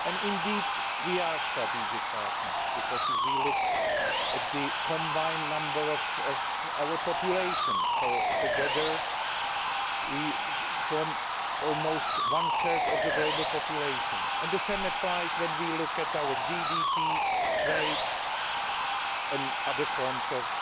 Indeed, we are strategic partners, because if we look at the combined number of our populations, together we form almost one third of the global population, and the same applies when we look at our GDP, trade and other forms of